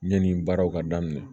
Yanni baaraw ka daminɛ